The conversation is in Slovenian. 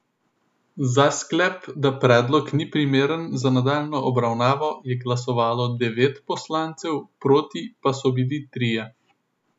Za sklep, da predlog ni primeren za nadaljnjo obravnavo, je glasovalo devet poslancev, proti pa so bili trije.